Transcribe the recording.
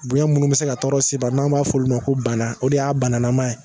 Bonya minnu bɛ se ka tɔɔrɔ s'i ma n'an b'a fɔ olu ma ko bana o de y'a bananama ye